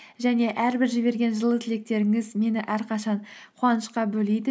және әрбір жіберген жылы тілектеріңіз мені әрқашан қуанышқа бөлейді